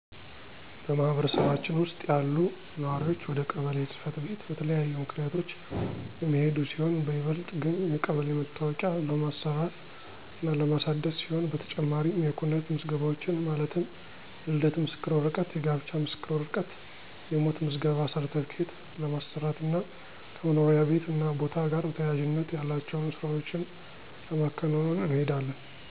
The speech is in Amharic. በማህበረሰባችን ውስጥ ያሉ ነዋሪዎች ወደ ቀበሌ ጽ/ቤት በተለያዩ ምክንያቶች የሚሄዱ ሲሆን በይበልጥ ግን የቀበሌ መታወቂያ ለማሰራት እና ለማሳደስ ሲሆን በተጨማሪም የኩነት ምዝገባዎችን ማለትም የልደት ምስክር ወረቀት :የጋብቻ ምስክር ወረቀት : የሞት ምዝገባ ሰርትፍኬት ለማሰራት እና ከመኖሪያ ቤት እና ቦታ ጋር ተያያዥነት ያላቸውን ስራዎችን ለማከናወን እንሄዳለን።